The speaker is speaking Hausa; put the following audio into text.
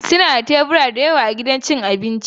Suna da tebura da yawa a cikin gidan abinci